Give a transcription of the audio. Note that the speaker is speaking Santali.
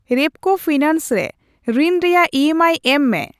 ᱨᱮᱯᱠᱳ ᱯᱷᱤᱱᱟᱱᱥ ᱨᱮ ᱨᱤᱱ ᱨᱮᱭᱟᱜ ᱤᱮᱢᱟᱭ ᱮᱢ ᱢᱮ ᱾